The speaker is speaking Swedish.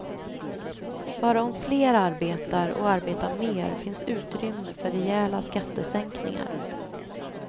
Bara om fler arbetar och arbetar mer finns utrymme för rejäla skattesänkningar.